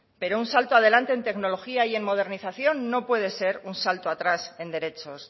pero un salto adelante en tecnología y en modernización no puede ser un salto atrás en derechos